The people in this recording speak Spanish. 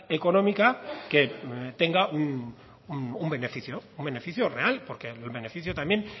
económica que tenga un beneficio real porque el beneficio también